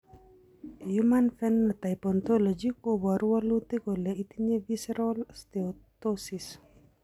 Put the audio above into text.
human Phenotype Ontology koporu wolutik kole itinye Visceral steatosis.